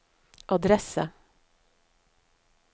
adresse